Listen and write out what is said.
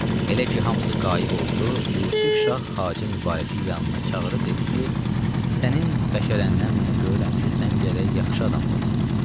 Elə ki, hamısı qayib oldu, Yusif şah Xacə Mübarəki yanına çağırıb dedi ki, sənin bəşərəndən mən görürəm ki, sən gərək yaxşı adam olasan.